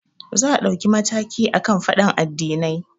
Za a ɗauki mataki akan faɗan addinai